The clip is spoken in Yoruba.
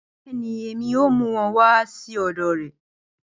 Bẹẹni, Emi yoo mu wọn wa si ọdọ rẹ